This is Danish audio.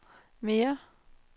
mere